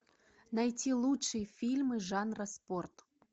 найти лучшие фильмы жанра спорт